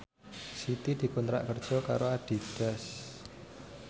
Siti dikontrak kerja karo Adidas